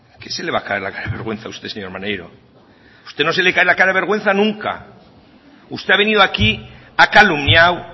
qué se le va a caer la cara de vergüenza a usted señor maneiro a usted no se le cae la cara de vergüenza nunca usted ha venido aquí ha calumniado